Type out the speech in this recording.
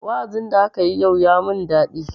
Wa'azin da akayi yau ya mun daɗi.